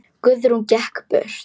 Guðrún gekk burt.